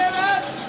Əngelə ver!